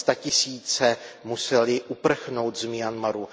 Sta tisíce musely uprchnout z Myanmaru.